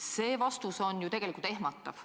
" See vastus on ju tegelikult ehmatav.